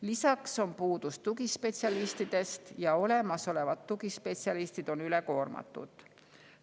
Lisaks on puudus tugispetsialistidest ja olemasolevad tugispetsialistid on ülekoormatud.